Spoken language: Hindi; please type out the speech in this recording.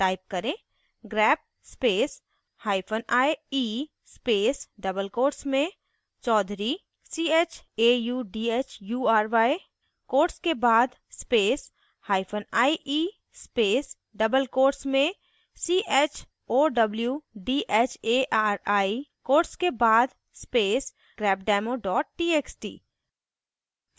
type करें: